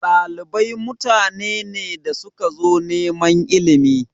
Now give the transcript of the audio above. Ɗalibai mutane ne da suka zo neman ilimi.